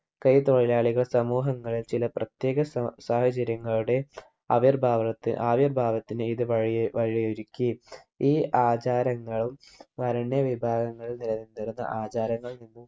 കൈത്തൊഴിലാളികൾ സമൂഹങ്ങളിൽ ചില പ്രത്യേക സാ സാഹചര്യങ്ങളുടെ ആവിർഭാവനത്തി ആവിർഭാവത്തിന് ഇത് വഴിയോ വഴിയൊരുക്കി ഈ ആചാരങ്ങളും വരണ്യ വിഭാഗങ്ങളിൽ നില നിന്നിരുന്ന ആചാരങ്ങളിൽ നിന്നും